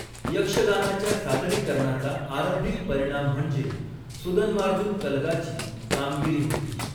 यक्षगानाच्या सादरीकरणाचा आरंभिक परिणाम म्हणजे, 'सुदन्वार्जुन कलगा'ची कामगिरी होती.